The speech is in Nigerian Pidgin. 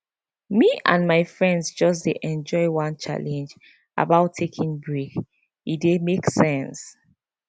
me and my friends just dey enjoy one challenge about taking break e dey make sense